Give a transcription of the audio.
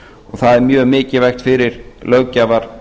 það er mjög mikilvægt fyrir löggjafarvaldið